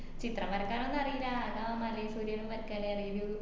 ചിത്രം വരക്കാനൊന്നും അറീല്ല ആകെ ആ മലേം പുഴയും വരക്കനെ അറിയുള്ളു